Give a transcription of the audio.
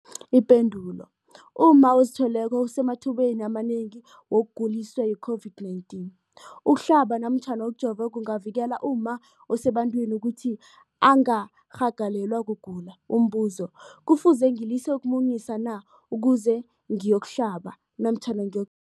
Ipendulo, umma ozithweleko usemathubeni amanengi wokuguliswa yi-COVID-19. Ukuhlaba namkha ukujova kungavikela umma osebantwini ukuthi angarhagalelwa kugula. Umbuzo, kufuze ngilise ukumunyisa na ukuze ngiyokuhlaba namkha ngiyok